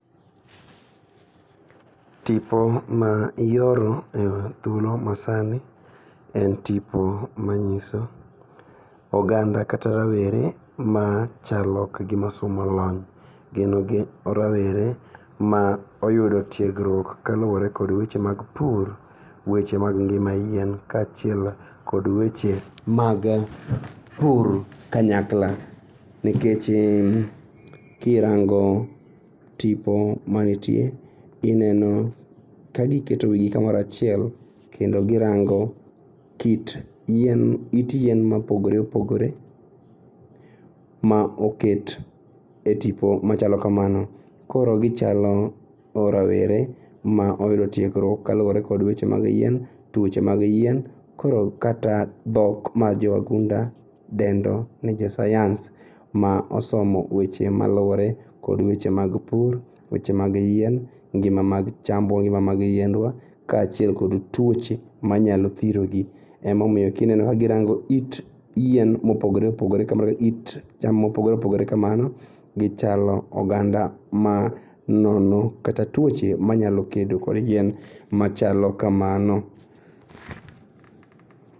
Tipo ma ioro e thuolo ma sani en tipo manyiso oganda kata rawere machalo kagima somo lony gin rawere ma oyudo tiegruok kaluore kod weche mag pur, weche mag ngima yien kachiel kod weche mag pur kanyakla, nekech kirango tipo manitie ineno kagiketo wii gi kamoro achiel kendo girango it yien mopogore opogore ma oket e tipo machalo kamano koro gichalo rawere ma oyudo tiegruok kaluore kod weche mag yien, tuoche mag yien koro kata dhok mag jowagunda dendoni jo science ma osomo weche maluore kod weche mag pur, weche mag yien ngima mag chambwa, ngima mag yiendwa kachiel kod tuoche manyalo thirogi. Emomiyo kineno kagirango it yien mopogore opogore kamano, it cham mopogore opogore kamano gichalo oganda ma nono kata tuoche manyalo kedo kod yien machalo kamano.